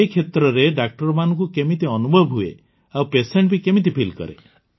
ଏ କ୍ଷେତ୍ରରେ ଡାକ୍ତରଙ୍କୁ କେମିତି ଅନୁଭବ ହୁଏ ଆଉ ପେସେଣ୍ଟ ବି କେମିତି ଫିଲ୍ କରେ